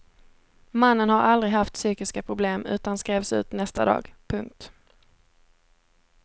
Mannen har aldrig haft psykiska problem utan skrevs ut nästa dag. punkt